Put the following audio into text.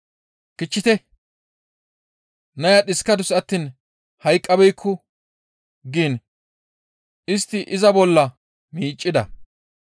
«Kichchite! Naya dhiskadus attiin hayqqabeekku» giin istti iza bolla miiccida.